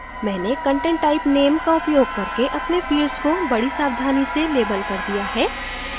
मैंने content type name का उपयोग करके अपने fields को बडी सावधानी से label कर दिया है